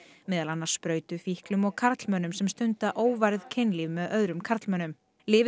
meðal annars sprautufíklum og karlmönnum sem stunda óvarið kynlíf með öðrum karlmönnum lyfið